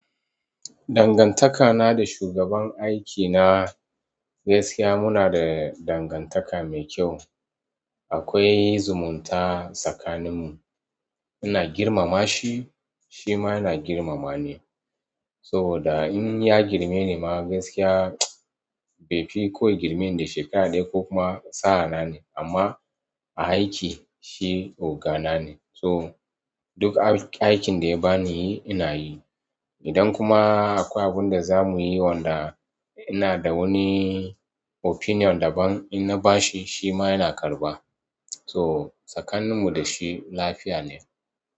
Dangantaka na da shugaban aikina gaskiya muna da dangantaka mai kyau. Akwai zumunta tsakaninmu. Ina girmama shi, shi ma yana girmama ni. Soboda in ya girmeni ma gaskiya bai fi ko ya gimme ni da shekara ɗaya ko kuma sa'a nane. Amma a aiki shi oga na ne so duk aikin da ya bani ina yi. Idan kuma akwai abun da za muyi wanda ina da wani opinion daban, in na bashi shi ma yana karɓa. So tsakanin mu da shi lafiya ne.